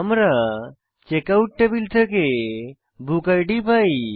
আমরা checkout table থেকে booked পাই